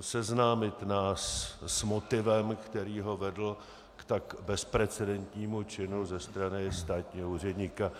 seznámit nás s motivem, který ho vedl k tak bezprecedentnímu činu ze strany státního úředníka.